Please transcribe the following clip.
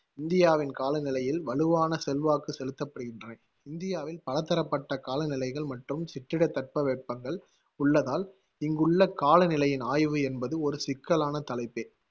இந்தியாவின் காலநிலையில் வலுவான செல்வாக்கு செலுத்தப்படுகின்றன. இந்தியாவில் பலதரப்பட்ட காலநிலைகள் மற்றும் சிற்றிடத் தட்பவெப்பங்கள் உள்ளதால் இங்குள்ள காலநிலையின் ஆய்வு என்பது ஒரு சிக்கலான தலைப்பே